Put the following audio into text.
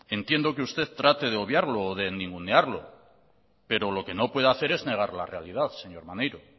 entiendo que usted trate de obviarlo o de ningunearlo pero lo que no puede hacer es negar la realidad señor maneiro